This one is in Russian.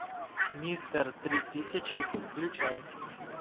мистер три тысячи включай